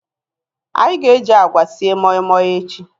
Anyị ga-eji agwa sie moi moi echi